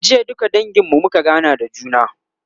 jiya duka dangin mu muka gana da juna